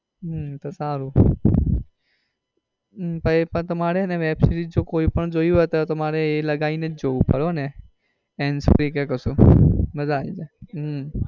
હમ તો સારું પણ એ પણ તમારે web series જો કોઈ પણ જોવી હોય તો એ લગાવી ને જ જોવી પડે hands free કે કશુ માજા આવી જાય હમ